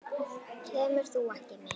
Kemur þú ekki með?